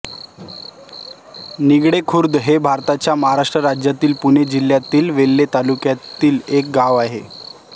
निगडे खुर्द हे भारताच्या महाराष्ट्र राज्यातील पुणे जिल्ह्यातील वेल्हे तालुक्यातील एक गाव आहे